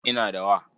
Ina da wa.